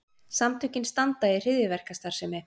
Samtökin standa í hryðjuverkastarfsemi